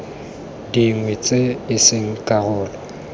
dingwe tse e seng karolo